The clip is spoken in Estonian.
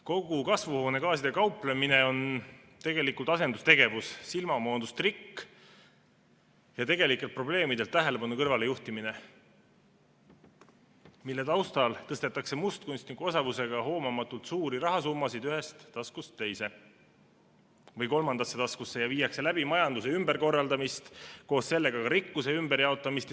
Kogu kasvuhoonegaasidega kauplemine on tegelikult asendustegevus, silmamoondustrikk ja tegelikelt probleemidelt tähelepanu kõrvale juhtimine, mille taustal tõstetakse hoomamatult mustkunstniku osavusega suuri rahasummasid ühest taskust teise või kolmandasse taskusse ja viiakse läbi majanduse ümberkorraldamist, koos sellega ka rikkuse ümberjaotamist.